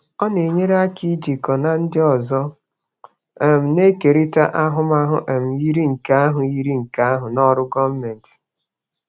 Ọ na-enyere aka ijikọ na ndị ọzọ um na-ekerịta ahụmahụ um yiri nke ahụ yiri nke ahụ na ọrụ gọọmentị.